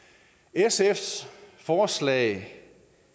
sfs forslag